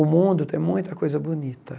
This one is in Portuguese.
O mundo tem muita coisa bonita.